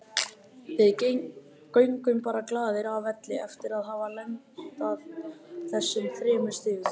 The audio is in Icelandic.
Við göngum bara glaðir af velli eftir að hafa landað þessum þremur stigum.